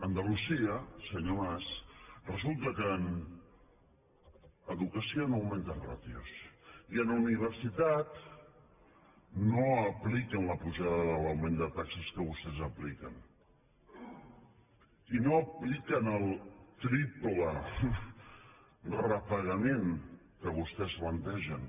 andalusia senyor mas resulta que en educació no augmenta ràtios i en universitat no apliquen la pujada de l’augment de taxes que vostès apliquen i no apliquen el triple repagament que vostès plantegen